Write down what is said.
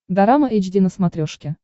дорама эйч ди на смотрешке